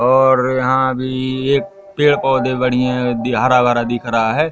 और यहां भी एक पेड़ पौधे बनी है हरा भरा दिख रहा है।